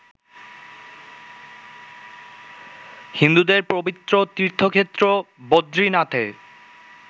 হিন্দুদের পবিত্র তীর্থক্ষেত্র বদ্রীনাথে